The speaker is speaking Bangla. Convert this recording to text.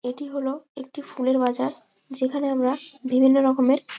এটি হলো একটি ফুলের বাজার যেখানে আমরা বিভিন্ন রকমের --